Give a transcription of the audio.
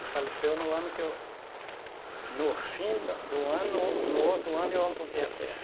Ele faleceu no ano que eu No fim do do ano, no outro ano, eu amputei a perna.